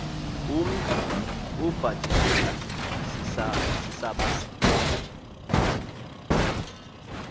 umntu ebhajiswe sisabatha